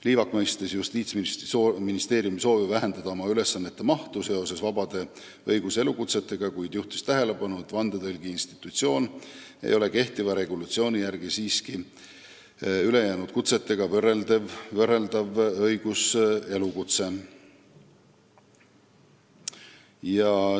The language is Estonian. Liivak mõistis Justiitsministeeriumi soovi vähendada oma ülesandeid, mis on seotud vabade õiguselukutsetega, kuid juhtis tähelepanu, et vandetõlgi institutsioon ei ole kehtiva regulatsiooni järgi siiski ülejäänud kutsetega võrreldav õiguselukutse.